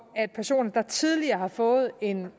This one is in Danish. at personer der tidligere har fået en